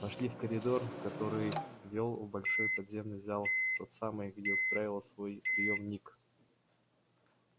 вошли в коридор который вёл в большой подземный зал в тот самый где устраивал свой приёмник